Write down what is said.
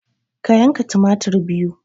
Ka yanka tumatir biyu